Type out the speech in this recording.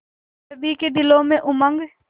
सभी के दिलों में उमंग